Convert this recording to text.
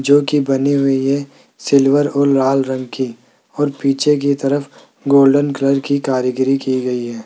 जो की बनी हुई है सिल्वर और लाल रंग की और पीछे की तरफ गोल्डन कलर की कारीगरी की गई है।